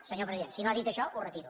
senyor president si no ha dit això ho retiro